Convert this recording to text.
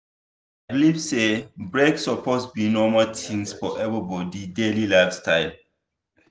i believe say break suppose be normal thing for everybody daily lifestyle.